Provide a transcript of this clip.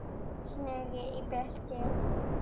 Snorri í Betel.